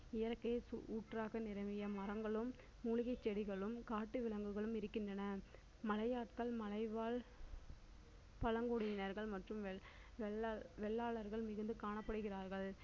இயற்கையின் ஊற்றாக நிரம்பிய மரங்களும் மூலிகைச் செடிகளும் காட்டு விலங்குகளும் இருக்கின்றன மலையாட்கள் மலை வாழ் பழங்குடியினர்கள் மற்றும் வெள்ளாளர்கள் மிகுந்துக் காணப்படுகிறார்கள்